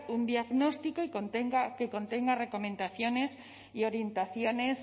un diagnóstico que contenga recomendaciones y orientaciones